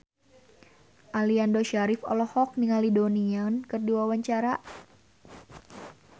Aliando Syarif olohok ningali Donnie Yan keur diwawancara